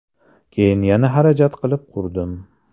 Keyin yana xarajat qilib qurdim.